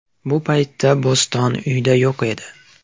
Bu paytda Bo‘ston uyda yo‘q edi.